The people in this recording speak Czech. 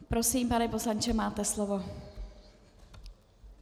Prosím, pane poslanče, máte slovo.